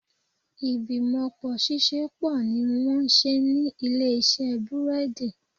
Ìgbìmọ̀pọ̀ ṣiṣẹ́ pọ̀ ní wọ́n ń ṣe ní ilé iṣẹ́ búrẹ́dì